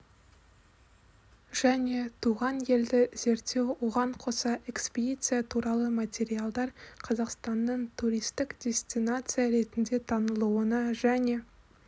және туған елді зерттеу оған қоса экспедиция туралы материалдар қазақстанның туристік дестинация ретінде танылуына және